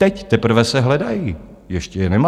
Teď teprve se hledají, ještě je nemám.